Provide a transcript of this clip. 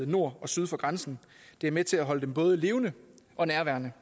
nord og syd for grænsen det er med til at holde debatten både levende og nærværende